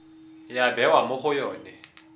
ya bewa mo go yone